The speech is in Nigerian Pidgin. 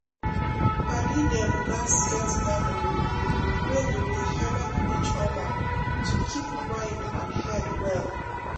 padi dem gatz get gathering wey go dey helep each other to keep mind and head well.